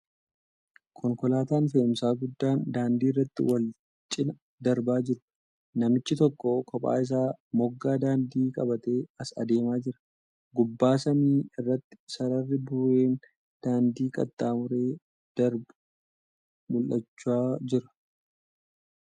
Konkolaataan fe'umsaa guddaan daandii irratti wal cinaa darbaa jiru. Namichi tokko kophaa isaa moggaa daandii qabatee as deemaa jira. Gubbaan samii irratti sararii burreen daandii qaxxaamuree darbu mul'achaa jira .